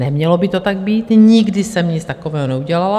Nemělo by to tak být, nikdy jsem nic takového neudělala.